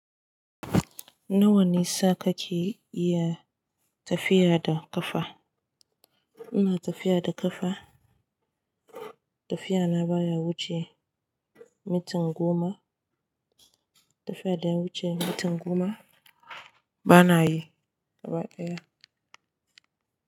Nawa nisa kake iya tafiya da ƙafa? Ina tafiya da ƙafa, tafiyana baya wuce mintin goma. Tafiya da ya wuce mintin goma bana yi, gabadaya.